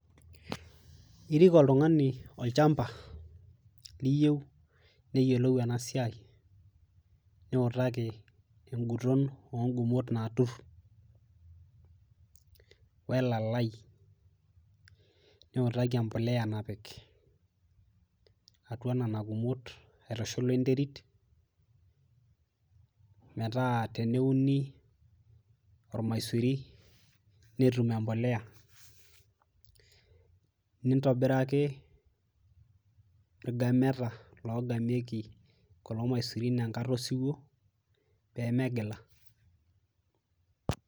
Irik oltung'ani olchamba liyieu neyiolou ena siai niutaki enguton ongumot naturr welalai niutaki empoliya napik atua nana kumot aitushul wenterit metaa teneuni ormaisuri netum empoleya nintobiraki irgameta logamieki kulo maisurin enkata osiwuo peemegila.